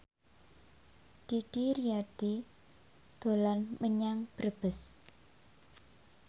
Didi Riyadi dolan menyang Brebes